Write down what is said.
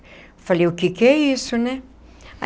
Eu falei, o que que é isso, né?